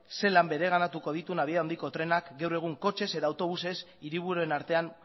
zelan bereganatuko dituen abiadura handiko trenak gaur egun hiriburuen artean